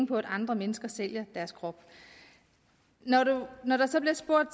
på at andre mennesker sælger deres krop når der så bliver spurgt